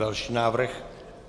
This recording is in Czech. Další návrh.